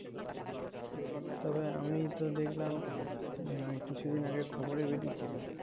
তবে আমি তো দেখলাম ওই কিছু দিন আগে খবরে বেরিয়েছিলো